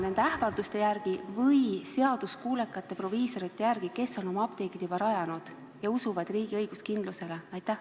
... nende ähvarduste järgi või ikkagi seaduskuulekate proviisorite järgi, kes on oma apteegid juba rajanud ja usuvad riigi õiguskindlusesse?